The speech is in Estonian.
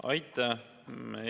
Aitäh!